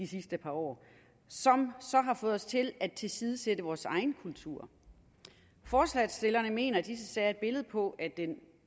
sidste par år så har fået os til at tilsidesætte vores egen kultur forslagsstillerne mener at disse sager er et billede på at